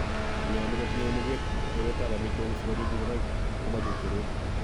nyolu kotinye muget teretab amitwogik sikoriib ngogaik komachut tereet.